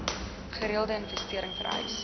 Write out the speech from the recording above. gereelde investering vereis